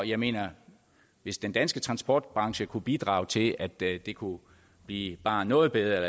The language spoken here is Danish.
jeg mener at hvis den danske transportbranche kunne bidrage til at det det kunne blive bare noget bedre